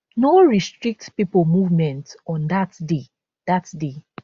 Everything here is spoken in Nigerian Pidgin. no restrict pipo movement on dat day dat day